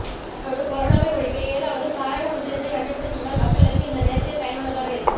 அதோடு கொரோனாவை ஒழிக்க ஏதாவது தாரக மந்திரத்தை கண்டுபிடித்து தந்தால் மக்களுக்கு இந்த நேரத்தில் பயனுள்ளதாக இருக்கும்